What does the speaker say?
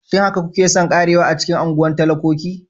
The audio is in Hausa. Shin haka kuke son ƙarewa a cikin unguwar talakoki?